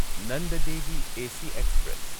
Nanda Devi AC express